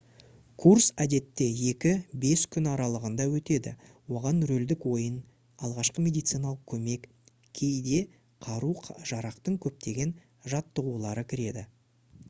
курс әдетте 2-5 күн аралығында өтеді оған рөлдік ойын алғашқы медициналық көмек кейде қару-жарақтың көптеген жаттығулары кіреді